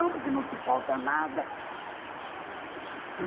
Por que não te falta nada?